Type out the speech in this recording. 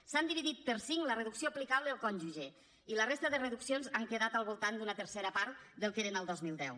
s’han dividit per cinc la reducció aplicable al cònjuge i la resta de reduccions han quedat al voltant d’una tercera part del que eren el dos mil deu